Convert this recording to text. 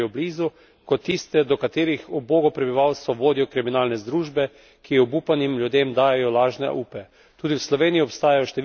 Tako tiste, ki geografsko živijo blizu, kot tiste, do katerih ubogo prebivalstvo vodijo kriminalne združbe, ki obupanim ljudem dajejo lažne upe.